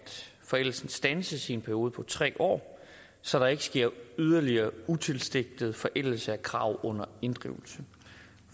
forældelsen standses i en periode på tre år så der ikke sker yderligere utilsigtet forældelse af krav under inddrivelse